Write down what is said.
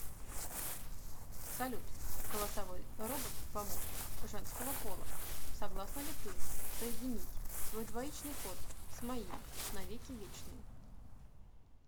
салют голосовой робот помощник женского пола согласна ли ты соединить свой двоичный код с моим на веки вечные